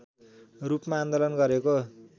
रूपमा आन्दोलन गरेको